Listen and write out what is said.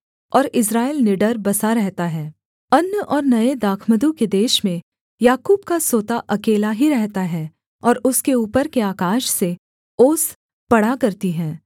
और इस्राएल निडर बसा रहता है अन्न और नये दाखमधु के देश में याकूब का सोता अकेला ही रहता है और उसके ऊपर के आकाश से ओस पड़ा करती है